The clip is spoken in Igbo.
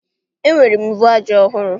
Enwere m mvu aja ọhụrụ